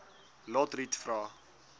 lotriet vra